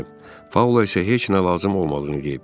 Paula isə heç nə lazım olmadığını deyib.